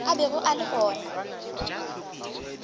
a bego a le go